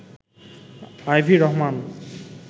Ivy Rahman